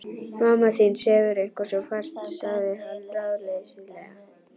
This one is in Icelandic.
Mamma þín sefur eitthvað svo fast sagði hann ráðleysislega.